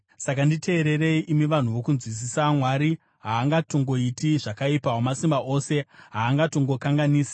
“Saka nditeererei, imi vanhu vokunzwisisa. Mwari haangatongoiti zvakaipa, Wamasimba Ose haangatongokanganisi.